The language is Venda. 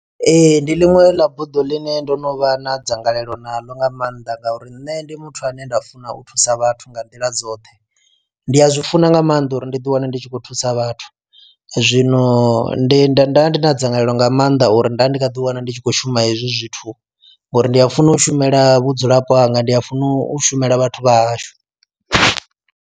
Ee ndi ḽiṅwe heiḽa buḓo ḽine ndo no vha na dzangalelo naḽo nga maanḓa ngauri nne ndi muthu ane nda funa u thusa vhathu nga nḓila dzoṱhe. Ndi a zwi funa nga maanḓa uri ndi ḓi wane ndi tshi khou thusa vhathu, zwino ndi nda nda vha ndi na dzangalelo nga maanḓa uri nda ndi nga ḓi wana ndi tshi khou shuma hezwi zwithu ngori ndi a funa u shumela vhudzulapo hanga ndi a funa u shumela vhathu vha hashu.